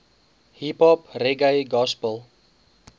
hiphop reggae gospel